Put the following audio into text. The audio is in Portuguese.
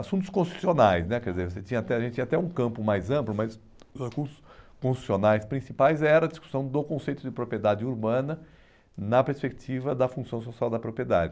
Assuntos constitucionais né, quer dizer, você tinha até, a gente tinha até um campo mais amplo, mas os constitucionais principais eram a discussão do conceito de propriedade urbana na perspectiva da função social da propriedade.